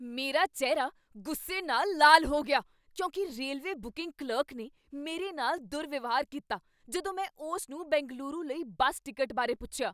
ਮੇਰਾ ਚਿਹਰਾ ਗੁੱਸੇ ਨਾਲ ਲਾਲ ਹੋ ਗਿਆ ਕਿਉਂਕਿ ਰੇਲਵੇ ਬੁਕਿੰਗ ਕਲਰਕ ਨੇ ਮੇਰੇ ਨਾਲ ਦੁਰਵਿਵਹਾਰ ਕੀਤਾ ਜਦੋਂ ਮੈ ਉਸ ਨੂੰ ਬੈਂਗਲੁਰੂ ਲਈ ਬੱਸ ਟਿਕਟ ਬਾਰੇ ਪੁੱਛਿਆ।